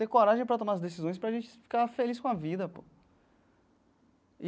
Ter coragem para tomar as decisões para a gente ficar feliz com a vida, pô.